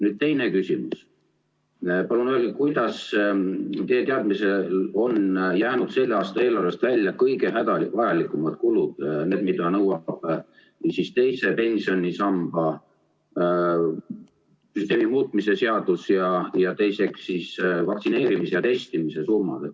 Nüüd teine küsimus: palun öelge, kuidas teie teadmisel on jäänud selle aasta eelarvest välja kõige hädavajalikumad kulud, need, mida nõuab teise pensionisamba süsteemi muutmise seadus, ning vaktsineerimisele ja testimisele kuluvad summad.